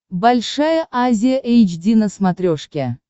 большая азия эйч ди на смотрешке